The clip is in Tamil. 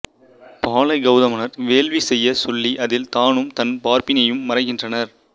பாலைக் கௌதமனார் வேள்வி செய்யச் சொல்லி அதில் தானும் தன் பார்ப்பினியும் மறைகின்றனர்